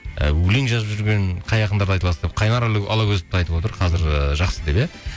і өлең жазып жүрген қай ақындарды айта аласың деп қайнар алагөзівті айтып отыр қазір ыыы жақсы деп иә